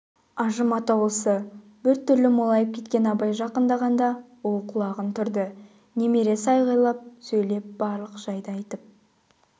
ажым атаулысы біртүрлі молайып кеткен абай жақындағанда ол құлағын түрді немересі айғайлап сөйлеп барлық жайды айтып